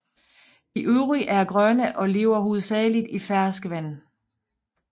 De øvrige er grønne og lever hovedsageligt i ferskvand